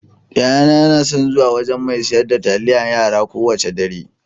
Yayana yana son zuwa wajan mai siyar da taliyar yara kowacce dare.